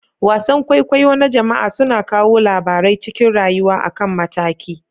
Wasan kwaikwayo na jama'a suna kawo labarai cikin rayuwa akan mataki.